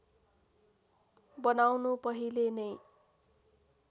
बनाउनु पहिले नै